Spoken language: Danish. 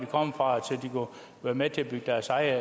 kommer fra og er med til at bygge deres eget